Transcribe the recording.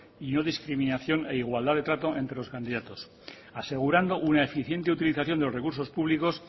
y no discriminación a la igualdad de trato entre los candidatos asegurando una eficiente utilización de los recursos públicos